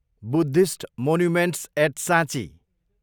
Buddhist monuments at साँची